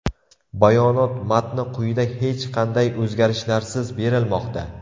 Bayonot matni quyida hech qanday o‘zgarishlarsiz berilmoqda.